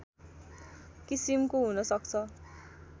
किसिमको हुनसक्छ